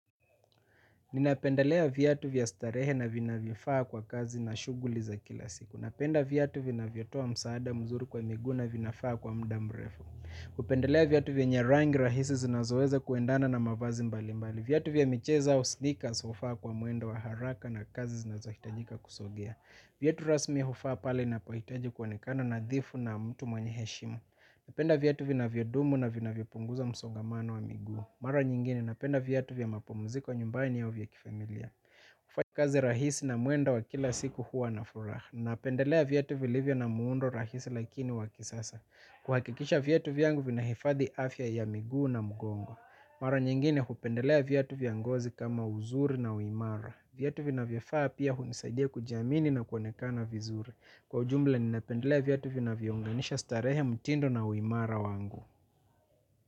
Ninapendelea viatu vya starehe na vinavyofaa kwa kazi na shughuli za kila siku. Napenda viatu vinavyotoa msaada mzuri kwa miguu na vinafaa kwa muda mrefu. Hupendelea viatu vyenye rangi rahisi zinazoweza kuendana na mavazi mbalimbali. Viatu vya michezo au snikers hufaa kwa mwendo wa haraka na kazi zinazohitajika kusogea. Viatu rasmi hufaa pale ninapohitaji kuonekano nadhifu na mtu mwenye heshima. Napenda viatu vinavyodumu na vinavyopunguza msongamano wa miguu. Mara nyingine napenda viatu vya mapumziko nyumbani au vya kifamilia. Kufanya kazi rahisi na mwendo wa kila siku huwa na furaha. Napendelea viatu vilivyo na muundo rahisi lakini wa kisasa. Kuhakikisha viatu vyangu vinahifadhi afya ya miguu na mgongo mara nyingine hupendelea viatu vya ngozi kama uzuri na uimara. Viatu vinavyofaa pia hunisaidia kujiamini na kuonekana vizuri. Kwa ujumla ninapendelea viatu vinavyounganisha starehe mtindo na uimara wangu.